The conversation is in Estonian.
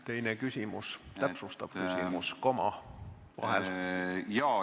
Teine, täpsustav küsimus, koma on vahel.